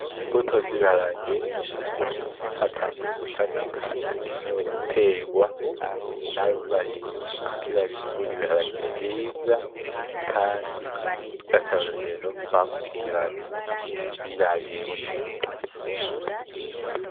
Imbuto z'ibiharage zatanguye gushamika, zikenewe gutegwa n'abarimyi kugira bimbure ibiharage vyiza kandi vy'akarorero, bakurikiranye, birabiye bo nyene.